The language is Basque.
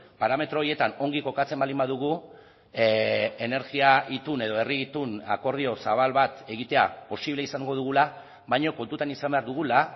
parametro horietan ongi kokatzen baldin badugu energia itun edo herri itun akordio zabal bat egitea posible izango dugula baina kontutan izan behar dugula